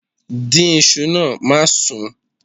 Dín iṣu náà, má sún.